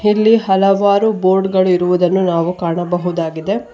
ಇಲ್ಲಿ ಹಲವಾರು ಬೋರ್ಡ್ ಗಳಿರುವುದನ್ನು ನಾವು ಕಾಣಬಹುದಾಗಿದೆ.